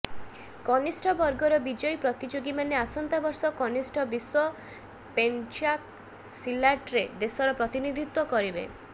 କନିଷ୍ଠ ବର୍ଗର ବିଜୟୀ ପ୍ରତିଯୋଗୀମାନେ ଆସନ୍ତା ବର୍ଷ କନିଷ୍ଠ ବିଶ୍ୱ ପେନ୍ଚାକ୍ ସିଲାଟ୍ରେ ଦେଶର ପ୍ରତିନିଧିତ୍ୱ କରିବେ